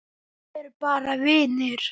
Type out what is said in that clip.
Við erum bara vinir.